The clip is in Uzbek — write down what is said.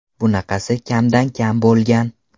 Bunaqasi kamdan kam bo‘lgan”.